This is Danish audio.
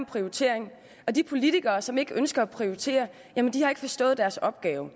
prioritering og de politikere som ikke ønsker at prioritere har ikke forstået deres opgave